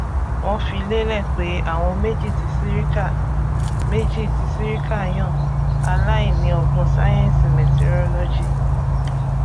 wọn fi lélẹ pé àwọn méjì tí sirika méjì tí sirika yàn aláìní ọgbọn sáyẹńsì mẹtirolọgì